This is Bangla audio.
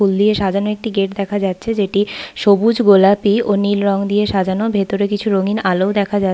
ফুল দিয়ে সাজানো একটি গেট দেখা যাচ্ছে। যেটি সবুজ গোলাপি ও নীল রং দিয়ে সাজানো। ভেতরে কিছু রঙিন আলো ও দেখা যা--